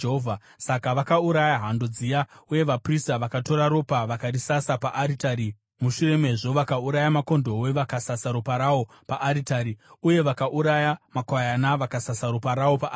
Saka vakauraya hando dziya, uye vaprista vakatora ropa vakarisasa paaritari mushure mezvo vakauraya makondobwe vakasasa ropa rawo paaritari; uye vakauraya makwayana vakasasa ropa rawo paaritari.